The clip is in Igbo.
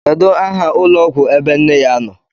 Kedu aha ụlọọgwụ ebe nne ya nọ?